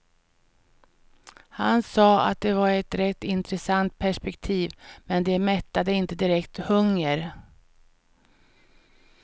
Han sa att det var ett rätt intressant perspektiv, men det mättade inte direkt hunger.